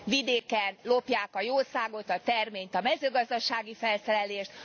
vidéken lopják a jószágot, a terményt, a mezőgazdasági felszerelést.